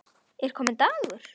Er kominn dagur?